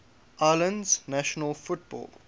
islands national football